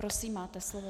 Prosím máte slovo.